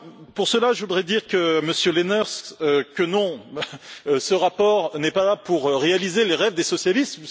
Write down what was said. Pour cela, je voudrais dire, Monsieur Lenaers, que non, ce rapport n'est pas là pour réaliser les rêves des socialistes.